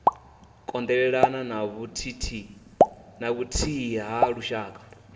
kondelelana na vhuthihi ha lushaka